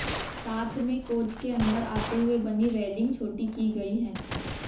साथ में कोच के अंदर आते हुए बनी रेलिंग छोटी की गई है